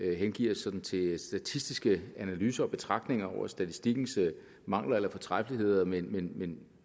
hengive os til statistiske analyser og betragtninger over statistikkens mangler eller fortræffeligheder men men